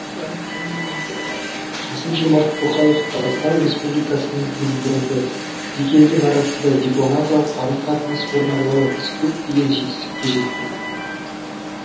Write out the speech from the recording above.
қасым жомарт тоқаев қазақстан республикасының президенті екі елдің арасында дипломатиялық қарым қатынас орнағалы біз көптеген жетістікке жеттік